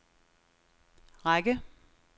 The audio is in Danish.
række